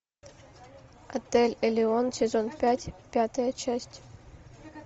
отель элеон сезон пять пятая часть